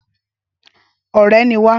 Ọrẹ ni wá